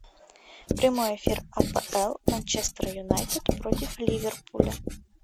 прямой эфир апл манчестер юнайтед против ливерпуля